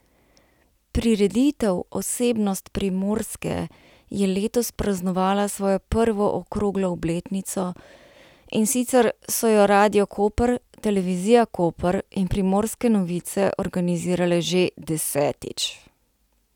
Prireditev Osebnost Primorske je letos praznovala svojo prvo okroglo obletnico, in sicer so jo Radio Koper, Televizija Koper in Primorske novice organizirale že desetič.